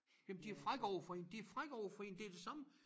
Jamen de frække overfor én de frække overfor én det det samme